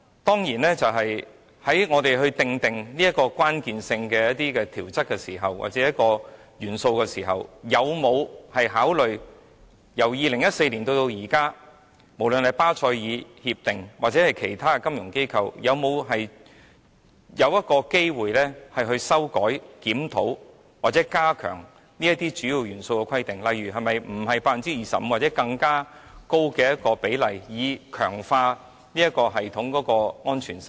當然，在我們訂立一些關鍵性的規則或元素的時候，有否考慮由2014年至今，無論是巴塞爾協定或其他金融機構有否修改、檢討或加強這些主要元素，例如不再是 25% 或訂定更高的比例，以強化這系統的安全性呢？